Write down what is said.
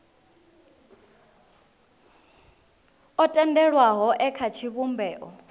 o tendelwaho e kha tshivhumbeo